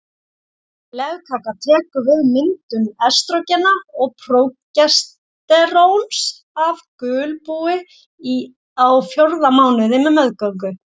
Legkakan tekur við myndun estrógena og prógesteróns af gulbúi á fjórða mánuði meðgöngu.